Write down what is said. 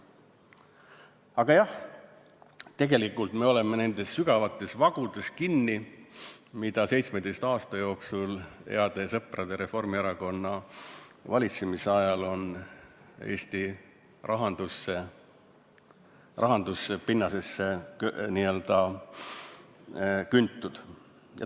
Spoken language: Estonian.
Aga jah, tegelikult me oleme nendes sügavates vagudes kinni, mida 17 aasta jooksul heade sõprade, Reformierakonna valitsemise ajal on Eesti rahanduse pinnasesse n-ö küntud.